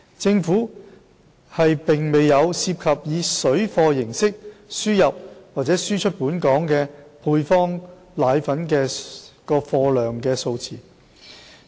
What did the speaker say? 政府沒有涉及以"水貨"形式輸入或輸出本港的配方粉貨量數字。